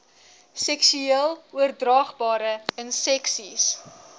seksueel oordraagbare inseksies